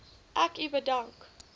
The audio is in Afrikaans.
ek u bedank